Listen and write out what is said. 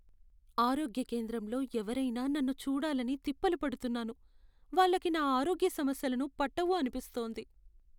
ఆరోగ్య కేంద్రంలో ఎవరయినా నన్ను చూడాలని తిప్పలు పడుతున్నాను, వాళ్ళకి నా ఆరోగ్య సమస్యలను పట్టవు అనిపిస్తోంది.